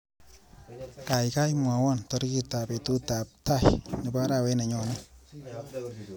Kaikai mwawa tarikitap betutap tai nebo arawet nenyoni.